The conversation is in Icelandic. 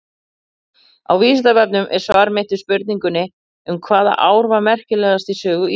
Á Vísindavefnum er svar mitt við spurningu um hvaða ár var merkilegast í sögu Íslands.